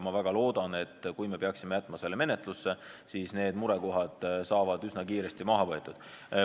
Ma väga loodan, et kui me peaksime jätma selle seaduse menetlusse, siis need murekohad saavad üsna kiiresti maha võetud.